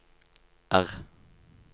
R